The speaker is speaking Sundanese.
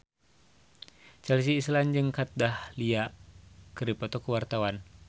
Chelsea Islan jeung Kat Dahlia keur dipoto ku wartawan